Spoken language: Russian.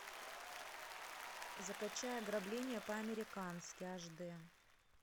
закачай ограбление по американски аш д